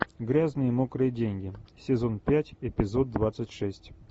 грязные мокрые деньги сезон пять эпизод двадцать шесть